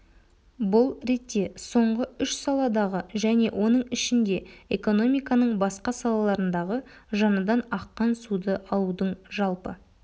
бұл ретте соңғы үш саладағы және оның ішінде экономиканың басқа салаларындағы жаңадан аққан суды алудың жалпы